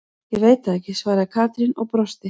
Ég veit það ekki svaraði Katrín og brosti.